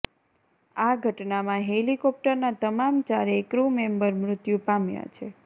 આ ઘટનામાં હેલિકોપ્ટરના તમામ ચારેય ક્રૂ મેમ્બર મૃત્યુ પામ્યા છે